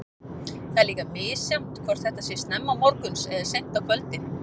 Það er líka misjafnt hvort þetta sé snemma morguns eða seint á kvöldin.